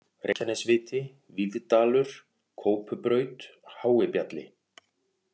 Reykjanesviti, Víðdalur, Kópubraut, Háibjalli